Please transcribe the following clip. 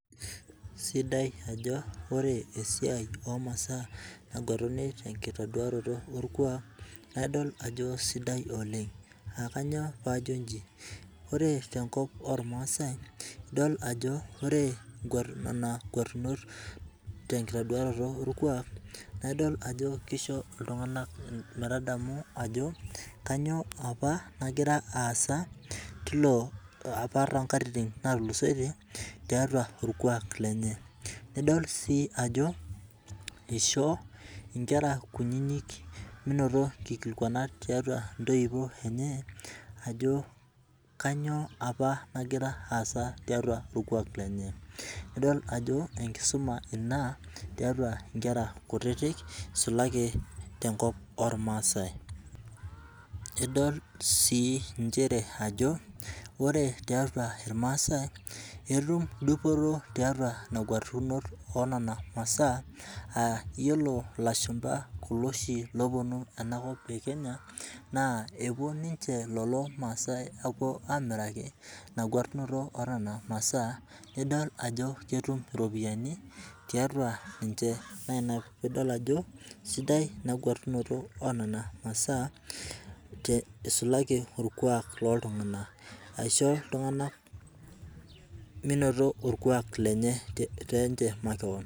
Isidai amu ore esiai omasaa naguetuni tekitoduaro orkuak naa idol ajo sidai oooleng, naa kanyoo paa ajo ji ? Ore te kop ormaasai idol ajo ore guaunot nena guatunot te kituadorot orkuak, naa idol ajo kisho iltungana metadamu ajo kanyoo apa nagira aasa tilo apa too katitin naatulusotie, tiatua irkuaki lenye. Idol si ajo isho nkera aah kunynyi menoto kikilikuanat tiatua ntoyiuo enye, ajo kanyoo apa nagira aasa tiatu orkuak lenye. Idol ajo ekisuma ina tiatu nkera kutitik isulaki te kop ormaasai. Idol si nchere ajo ore tiatua irmaasai etum dupoto tiatua nena guatunot enena masaa aah yiolo lashumba kulo oshi ooponu ena kop ele osho le kenya naa kepuo lelo maasai apuo aamiraki nnena guatunoto enena masaa nidol ajo ketum ropiyiani tiatua ninche naa ina piidol ajo sidai ina guatunoto enena masaa te eisulaki tolkuaak loo ntungana aishoo iltungana menoto orkuak lenye te ninche makewan.